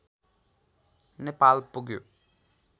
नेपाल पुग्यो